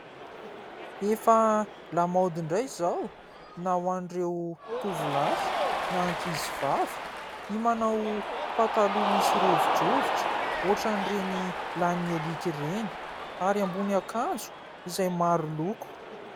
Efa lamaody indray izao na ho an'ireo tovolahy na ankizy vavy ny manao pataloha misy rovidrovitra ohatran'ireny lanin'ny aliaka ireny, ary ambonin'akanjo izay maro loko.